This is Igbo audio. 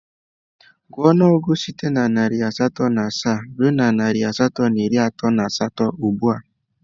Gụọ ọnụọgụgụ site na narị asatọ na asaa ruo narị asatọ na iri atọ na asatọ ugbu a!